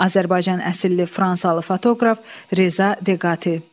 Azərbaycan əsilli fransalı fotoqraf Rza Deqati.